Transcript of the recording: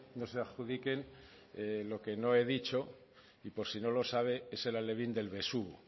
no se adjudiquen lo que no he dicho y por si no lo sabe es el alevín del besugo